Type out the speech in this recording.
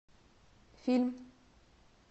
фильм